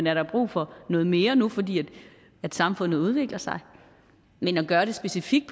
er der brug for noget mere nu fordi samfundet udvikler sig men at gøre det specifikt